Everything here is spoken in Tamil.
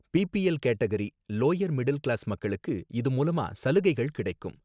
BPL category, lower middle class மக்களுக்கு இது மூலமா சலுகைகள் கிடைக்கும்